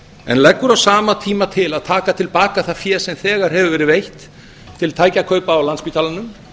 en leggur á sama tíma til að taka til baka það fé sem þegar hefur verið veitt til tækjakaupa á landspítalanum